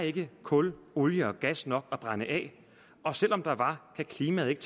ikke kul olie og gas nok at brænde af og selv om der var ville klimaet ikke